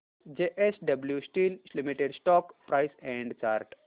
JSW Steel Limited stock price and chart